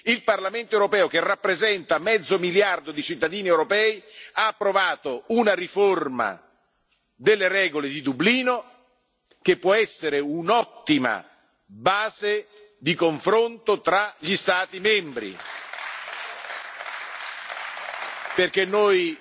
Il Parlamento europeo, che rappresenta mezzo miliardo di cittadini europei, ha approvato una riforma delle regole di Dublino che può essere un'ottima base di confronto tra gli Stati membri, perché